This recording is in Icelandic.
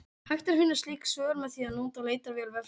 Hægt er að finna slík svör með því að nota leitarvél vefsins.